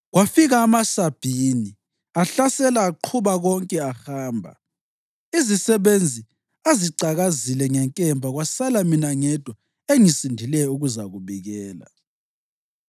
kwafika amaSabhini ahlasela aqhuba konke ahamba. Izisebenzi azicakazile ngenkemba kwasala mina ngedwa engisindileyo ukuzakubikela!”